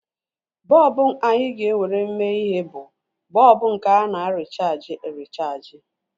Bọlbụ anyị ga-ewere mee ihe bụ bọlbụ nke ana-erichaaji erichaaji